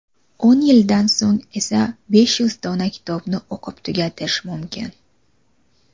O‘n yildan so‘ng esa besh yuz dona kitobni o‘qib tugatish mumkin!.